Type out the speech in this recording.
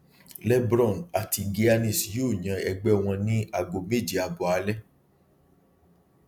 lebron àti giannis yóò yan ẹgbẹ wọn ní ago méje abọ alẹ